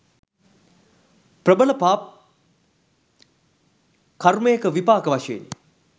ප්‍රබල පා කර්මයක විපාක වශයෙනි